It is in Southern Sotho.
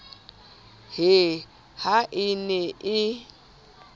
he ha e ne e